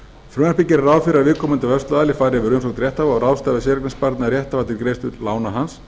frumvarpið gerir ráð fyrir að viðkomandi vörsluaðili fari yfir umsókn rétthafa og ráðstafi séreignarsparnað rétthafa til greiðslu lána hans